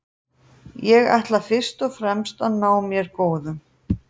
Ég ætla fyrst og fremst að ná mér góðum.